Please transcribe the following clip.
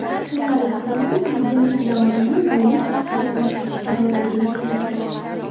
Xillari Klinton prezidentlik lavozimini buvilik baxtiga almashtirishga roziligini bildirdi.